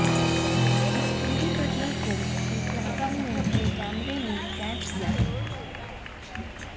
इस पूरी घटना को एक यात्री ने अपने कैमरे में कैद किया है